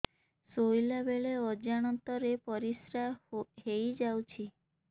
ଶୋଇଲା ବେଳେ ଅଜାଣତ ରେ ପରିସ୍ରା ହେଇଯାଉଛି